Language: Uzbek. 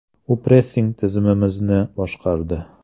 U pressing tizimimizni boshqardi.